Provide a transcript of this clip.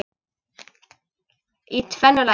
Í tvennu lagi.